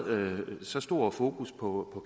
så stort fokus på